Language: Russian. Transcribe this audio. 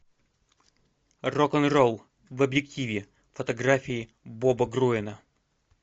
рок н ролл в объективе фотографии боба груэна